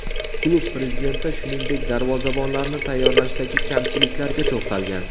Klub prezidenti, shuningdek, darvozabonlarni tayyorlashdagi kamchiliklarga to‘xtalgan.